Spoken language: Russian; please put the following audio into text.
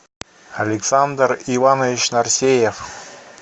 александр иванович нарсеев